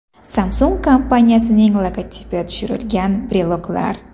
Samsung kompaniyasining logotipi tushirilgan breloklar.